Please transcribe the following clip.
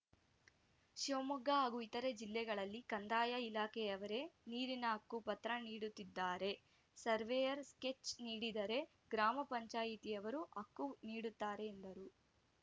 ಶಿವಮೊಗ್ಗ ಹಾಗೂ ಇತರೆ ಜಿಲ್ಲೆಗಳಲ್ಲಿ ಕಂದಾಯ ಇಲಾಖೆಯವರೇ ನೀರಿನ ಹಕ್ಕುಪತ್ರ ನೀಡುತ್ತಿದ್ದಾರೆ ಸರ್ವೇಯರ್‌ ಸ್ಕೆಚ್‌ ನೀಡಿದರೆ ಗ್ರಾಮ ಪಂಚಾಯಿತಿಯವರು ಹಕ್ಕು ನೀಡುತ್ತಾರೆ ಎಂದರು